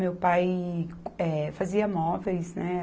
Meu pai, eh, fazia móveis, né?